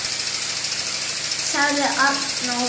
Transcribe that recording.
., sagði Arnór.